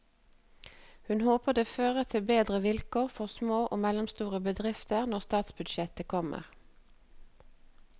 Hun håper det fører til bedre vilkår for små og mellomstore bedrifter når statsbudsjettet kommer.